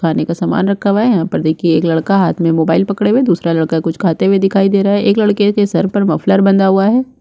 खाने का सामन रखा हुआ है यहाँ पर देखिये एक लड़का हाथ में मोबाइल पकड़े हुए दूसरा लड़का कुछ खाते हुए दिखाई दे रहा है एक लड़के के सर पर मफलर बंधा हुआ है।